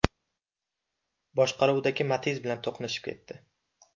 boshqaruvidagi Matiz bilan to‘qnashib ketdi.